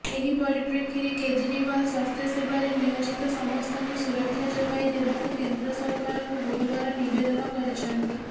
ଏହି ପରିପ୍ରେକ୍ଷୀରେ କେଜରିୱାଲ ସ୍ବାସ୍ଥ୍ୟସେବାରେ ନିୟୋଜିତ ସମସ୍ତଙ୍କୁ ସୁରକ୍ଷା ଯୋଗାଇ ଦେବାକୁ କେନ୍ଦ୍ର ସରକାରଙ୍କୁ ଗୁରୁବାର ନିବେଦନ କରିଛନ୍ତି